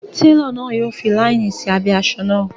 Télọ̀ náà yọ fi láínì sí abẹ́ asọ náà